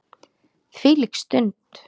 Hvílík stund.